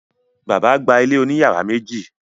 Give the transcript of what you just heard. Bàbá gba ilé òní yàrá méjì.